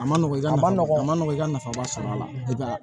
A ma nɔgɔ i ma a ma nɔgɔn i ka nafaba sɔrɔ a la